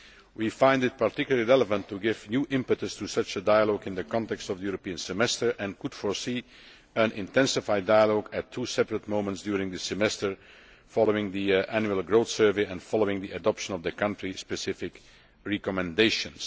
We find it particularly relevant to give new impetus to such a dialogue in the context of the European Semester and could foresee an intensified dialogue at two separate moments during the Semester following the annual growth survey and the adoption of the country specific recommendations.